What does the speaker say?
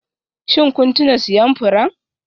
Shin kun tuna siyan furen?